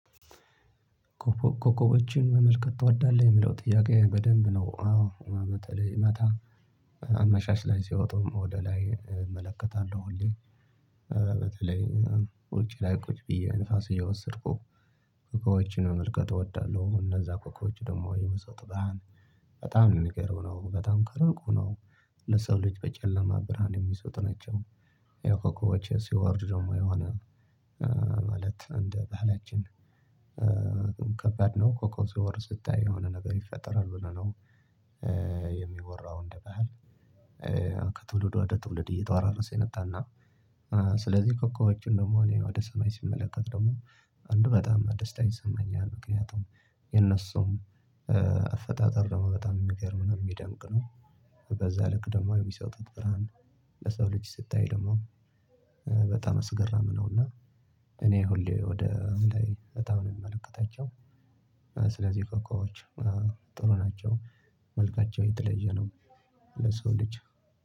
ኮከቦችን መመልከት ትወዳለህ? የምለው ጥያቄ በደንብ ነው አዎ በተለይ ማታ ላይ ሲወጣውም ወደ ላይ እመለከታለሁ ሁሌ በተለይ ውጪ ላይ ቁጭ ብዬ ንፋስ እየወሰድኩ ኮከቦችን መመልከት እወዳለሁ እነዛ ኮከቦች ደግሞ የመሰጡ ብርሃን በጣም ምገርም ነው። በጣም ከሩቁ ነው ለሰው ልጅ በጨለማ ብርሃን የሚስጡ ናቸው። የኮኮቦቼ ሲወርድ ደግሞ የሆነ ማለት እንደ ባህላችን ከባድ ነው ኮኮብ ስወርድ ስታይ የሆነ ነገር ይፈጠራል ብለው ነው የሚወራው እንደ ባህል ከትውልድ ወደ ትውልድ እየተወራረሰ የመጣና ስለዚህ ኮኮቦችን ደግሞ እኔ ወደ ሰማይ ስመለከት ደግሞ በጣም ደስታ ይሰማኛል ምክንያቱም የነሱም አፈጣጠር ደግሞ በጣም የሚገርም ነው የሚደምቅ ነው። በዛ ልክ ደግሞ የሚሰጡት ብርሃን ለሰው ልጅ ስታይ ደግሞ በጣም አስገራሚ ነው እና እኔ ሁሌ ወደ ላይ በጣም ነው ምለከታቸው። ስለዚህ ኮከቦች ጥሩ ናቸው። መልካቸው የተለየ ነው ለሰው ልጅ